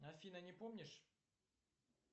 афина не помнишь